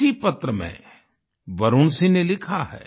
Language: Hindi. इसी पत्र में वरुण सिंह ने लिखा है